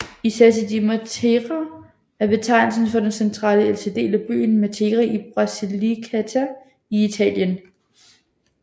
I Sassi di Matera er betegnelsen for den centrale og ældste del af byen Matera i Basilicata i Italien